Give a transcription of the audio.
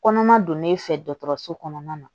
Kɔnɔma donn'e fɛ dɔgɔtɔrɔso kɔnɔna na